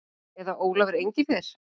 Eða Ólafur Engifer.